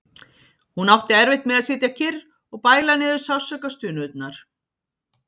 Hún átti erfitt með að sitja kyrr og bæla niður sársaukastunurnar.